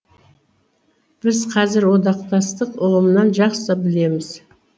біз қазір одақтастық ұғымынан жақсы білеміз